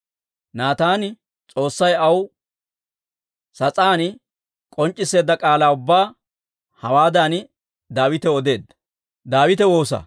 Naataani S'oossay aw sas'aani k'onc'c'isseedda k'aalaa ubbaa hawaadan Daawitaw odeedda.